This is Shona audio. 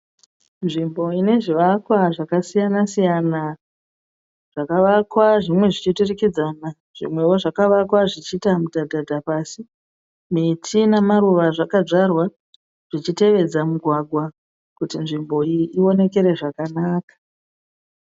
Nzvimbo inezvivakwa zvakasiyana-siyana zvakavakwa zvimwe zvichiturikidzana zvimwewo zvakavakwa zvichiita mudhadhadha pasi. Miti namaruva zvakadzvarwa zvichitevedza mugwagwa kuti nzvimbo iyi iwonekere zvakanaka.